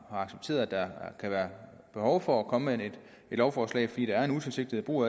accepterer at der kan være behov for at komme med et lovforslag fordi der er en utilsigtet brug